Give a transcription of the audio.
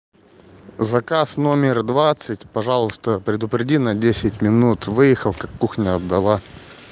заказ номер двадцать пожалуйста предупреди на десять минут выехал как кухню отдала